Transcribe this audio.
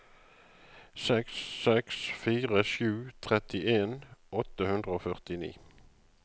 seks seks fire sju trettien åtte hundre og førtini